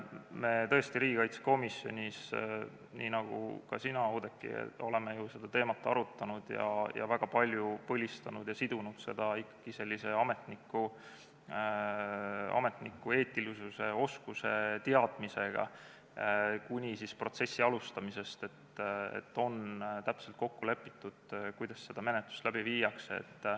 Me tõesti riigikaitsekomisjonis oleme seda teemat arutanud, oleme väga palju põhistanud ja sidunud seda ikkagi ametniku eetilisuse, oskuste ja teadmisega, alates protsessi alustamisest, et oleks täpselt kokku lepitud, kuidas seda menetlust läbi viiakse.